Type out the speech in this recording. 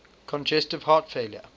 congestive heart failure